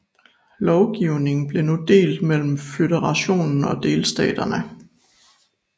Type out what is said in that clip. Lovgivningen blev nu delt mellem føderationen og delstaterne